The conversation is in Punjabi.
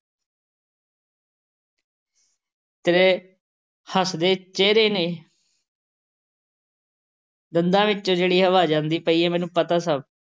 ਤੇਰੇ ਹੱਸਦੇ ਚਿਹਰੇ ਨੇ ਦੰਦਾਂ ਵਿੱਚੋਂ ਜਿਹੜੀ ਆਵਾਜ਼ ਆਉਂਦੀ ਪਈ ਹੈ, ਮੈਨੂੰ ਪਤਾ ਸਭ।